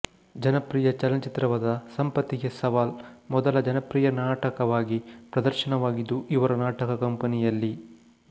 ಜನಪ್ರಿಯ ಚಲನಚಿತ್ರವಾದ ಸಂಪತ್ತಿಗೆ ಸವಾಲ್ ಮೊದಲು ಜನಪ್ರಿಯ ನಾಟಕವಾಗಿ ಪ್ರದರ್ಶನವಾಗಿದ್ದು ಇವರು ನಾಟಕ ಕಂಪನಿಯಲ್ಲಿ